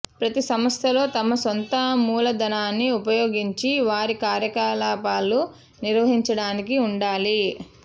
ప్రతి సంస్థలో తమ సొంత మూలధనాన్ని ఉపయోగించి వారి కార్యకలాపాలు నిర్వహించడానికి ఉండాలి